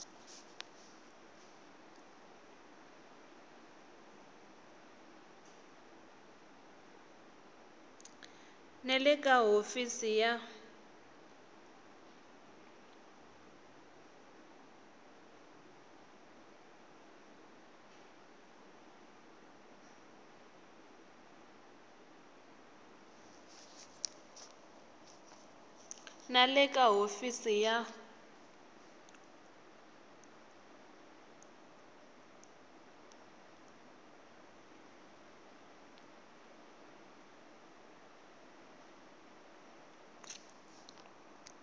na le ka hofisi ya